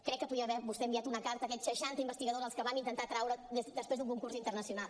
crec que podia haver vostè enviat una carta a aquests seixanta investigadors als que vam intentar atraure després d’un concurs internacional